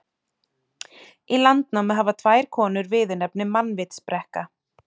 Í Landnámu hafa tvær konur viðurnefnið mannvitsbrekka.